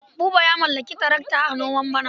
Buba ya mallaki tarakata a noman bana.